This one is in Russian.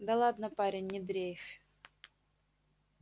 да ладно парень не дрейфь